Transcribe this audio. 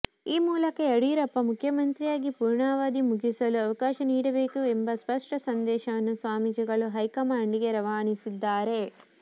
ಈ ಮೂಲಕ ಯಡಿಯೂರಪ್ಪ ಮುಖ್ಯಮಂತ್ರಿಯಾಗಿ ಪೂರ್ಣಾವಧಿ ಮುಗಿಸಲು ಅವಕಾಶ ನೀಡಬೇಕು ಎಂಬ ಸ್ಪಷ್ಟ ಸಂದೇಶವನ್ನು ಸ್ವಾಮೀಜಿಗಳು ಹೈಕಮಾಂಡ್ ಗೆ ರವಾನಿಸಿದ್ದಾರೆ